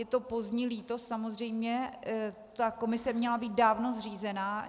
Je to pozdní lítost, samozřejmě ta komise měla být dávno zřízena.